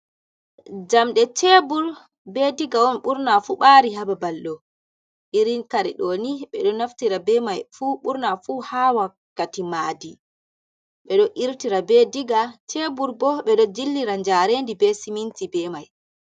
Jamɗe cebur be diga on ɓurna fu ɓaari haa babal ɗo. Iri kare ɗo ni ɓe ɗo naftira be mai fu ɓurna fu haa wakkati maadi. Ɓe ɗo irtira be diga, cebur bo ɓe ɗo jillira jaarendi, be siminti be mai.